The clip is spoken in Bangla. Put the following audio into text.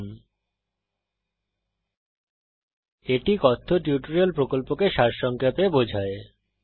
httpspoken tutorialorgWhat is a Spoken Tutorial এটি কথ্য টিউটোরিয়াল প্রকল্পকে সারসংক্ষেপে বোঝায়